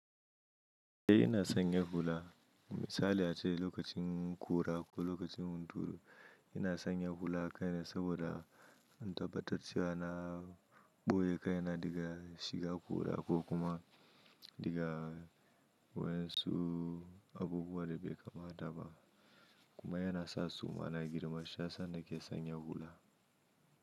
Eh ina sanya hula misali ace lokacin kura ko lokacin hunturu ina sanya hula kai na saboda in tabbatar cewa na ɓoye kai na daga shiga ƙura ko kuma daga wayan su abubuwa da bai kamata ba kuma yana sa suma na girma shiyasa na ke sanya hula.